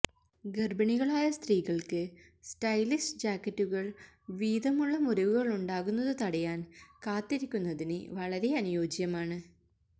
ഗർഭിണികളായ സ്ത്രീകൾക്ക് സ്റ്റൈലിഷ് ജാക്കറ്റുകൾ വീതമുള്ള മുറിവുകളുണ്ടാകുന്നത് തടയാൻ കാത്തിരിക്കുന്നതിന് വളരെ അനുയോജ്യമാണ്